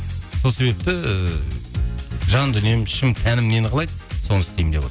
сол себепті ііі жан дүнием ішім тәнім нені қалайды соны істеймін деп